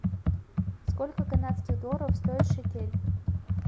сколько канадских долларов стоит шекель